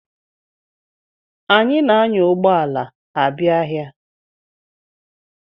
Anyị na-anya ụgbọ ala abia ahịa.